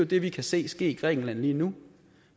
det vi kan se ske i grækenland lige nu